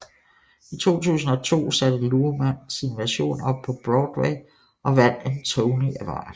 I 2002 satte Luhrmann sin version op på Broadway og vandt en Tony Award